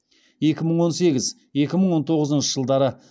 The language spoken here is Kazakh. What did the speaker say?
екі мың он сегіз екі мың он тоғызыншы жылдары